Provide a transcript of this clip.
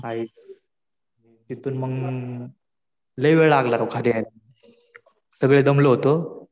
काही. तिथून मग लय वेळ लागला राव खाली यायला. सगळे दमलो होतो.